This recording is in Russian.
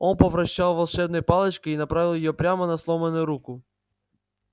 он повращал волшебной палочкой и направил её прямо на сломанную руку